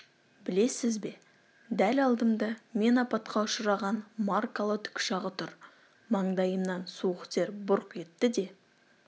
білесіз бе дәл алдымда мен апатқа ұшыраған маркалы тікұшағы тұр маңдайымнан суық тер бұрқ етті де